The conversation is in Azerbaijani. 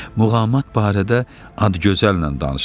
Muğamat barədə Adıgözəllə danışın.